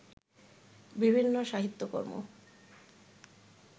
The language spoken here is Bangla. বিভিন্ন সাহিত্যকর্ম